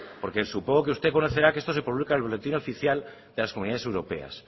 porque supongo que usted conocerá que esto se publica en el boletín oficial de las comunidades europeas